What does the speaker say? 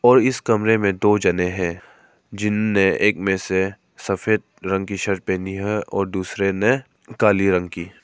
और इस कमरे में दो जने है जिन्होंने एक में से सफेद रंग की शर्ट पहनी है और दूसरे ने काली रंग की।